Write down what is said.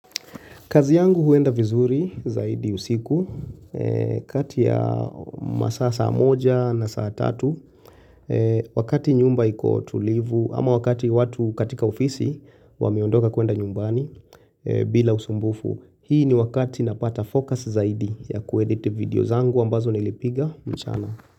Kazi yangu huenda vizuri zaidi usiku, katia masa saa moja na saa tatu, wakati nyumba ikotulivu ama wakati watu katika ofisi wameondoka kuenda nyumbani bila usumbufu. Hii ni wakati napata focus zaidi ya kuedit video zangu ambazo nilipiga mchana.